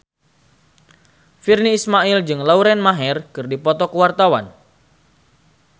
Virnie Ismail jeung Lauren Maher keur dipoto ku wartawan